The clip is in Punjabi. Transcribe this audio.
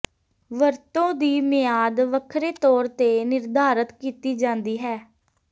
ਵਰਤੋਂ ਦੀ ਮਿਆਦ ਵੱਖਰੇ ਤੌਰ ਤੇ ਨਿਰਧਾਰਤ ਕੀਤੀ ਜਾਂਦੀ ਹੈ